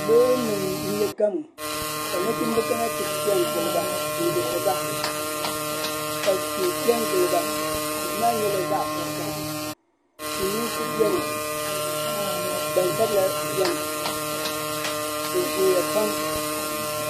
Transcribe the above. Loori nim n nyɛ gamu kanachimb kana ti pɛ n giliba n lihiri ba. ka tihipɛ n giliba tihimaa nyɛla zaɣi vakaha. silimiinsi beni gbansabila beni, bi zooya pam.